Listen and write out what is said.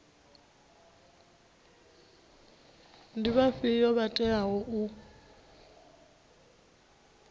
ndi vhafhio vho teaho u